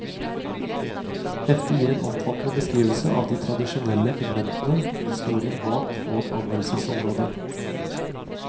Heftet gir en omfattende beskrivelse av de tradisjonelle pigmentene, historien bak og anvendelsesområder.